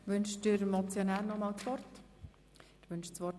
Wünscht der Motionär nochmals das Wort?